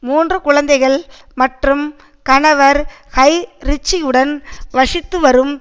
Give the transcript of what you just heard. மூன்று குழந்தைகள் மற்றும் கணவர் ஹய் ரிச்சியுடன் வசித்து வரும்